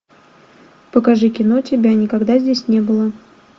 покажи кино тебя никогда здесь не было